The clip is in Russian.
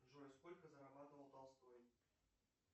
джой сколько зарабатывал толстой